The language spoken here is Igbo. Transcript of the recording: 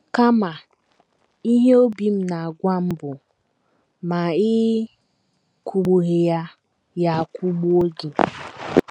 Kama, ihe obi m na - agwa m bụ, ‘ ma ị́ kụgbughị ya, ya akụgbuo gị. ’